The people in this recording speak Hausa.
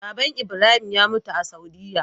baban ibrahim ya mutu a saudiya